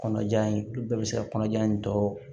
Kɔnɔja in olu bɛɛ bɛ se ka kɔnɔja in tɔ